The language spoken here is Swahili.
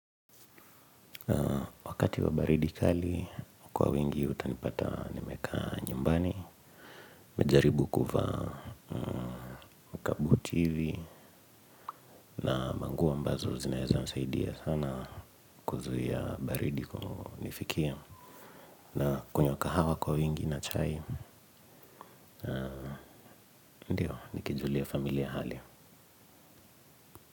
Wakati wa baridi kali kwa wingi utanipata nimekaa nyumbani. Nimejaribu kuvaa kabuti hivi na nguo ambazo zinaweza nisaidia sana kuzuia baridi kunifikia. Nakunywa kahawa kwa wingi na chai ndio nikijulia familia hali.